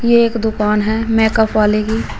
ये एक दुकान है मेकअप वाले की।